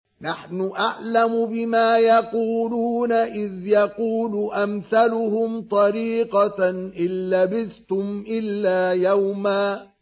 نَّحْنُ أَعْلَمُ بِمَا يَقُولُونَ إِذْ يَقُولُ أَمْثَلُهُمْ طَرِيقَةً إِن لَّبِثْتُمْ إِلَّا يَوْمًا